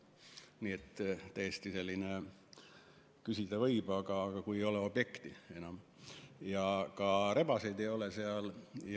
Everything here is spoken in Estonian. Nii et täiesti selline teema, et küsida võib, aga kui ei ole objektigi enam,.